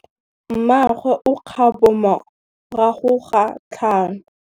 Mmagwe o kgapô morago ga tlhalô.